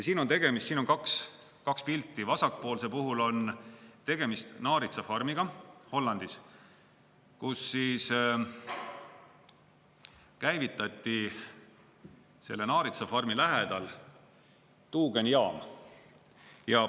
Siin on kaks pilti, vasakpoolse puhul on tegemist naaritsafarmiga Hollandis, kus käivitati selle naaritsafarmi lähedal tuugenijaam.